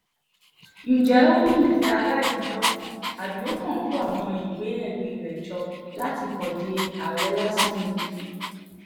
ǹjẹ́ ó ní ìfẹ́ aráàlú lọ́kàn àbí ó kàn kó àwọn ìwé-ẹ̀rí rẹ̀ jọ láti kàn di àárẹ̀ lásán ni